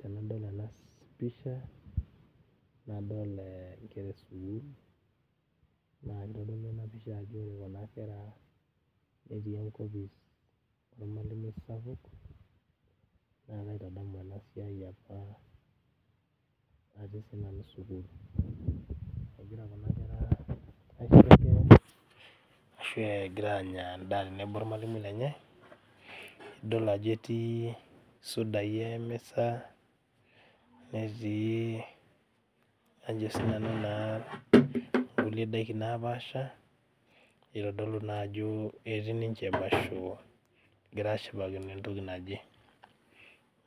Tenadol ena pisha nadol eh inkera esukuul naa kitodolu ena pisha ajo ore kuna kera netii enkopis ormalimui sapuk naa kaitadamu ena siai apa atii sinanu sukuul egira kuna kera aisherekea ashu egira anya endaa tenebo ormalimui lenye idol ajo etii isudai emisa netii ajo sinanu naa inkulie daiki napaasha eitodolu naa ajo etii ninche emasho egira ashipakino entoki naje